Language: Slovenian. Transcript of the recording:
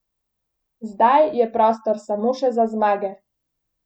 Zdaj je prostor samo še za zmage!